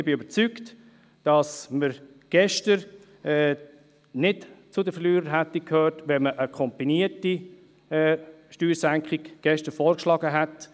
Ich bin überzeugt, dass wir gestern nicht zu den Verlierern gehört hätten, wenn man dort eine kombinierte Steuersenkung vorgeschlagen hätte.